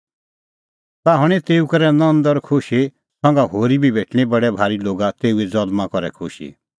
ताह हणीं तेऊ करै नंद और खुशी संघा होरी बी भेटणीं बडै भारी लोगा तेऊए ज़ल्मां करै खुशी